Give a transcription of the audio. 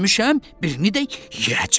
birini də yeyəcəm.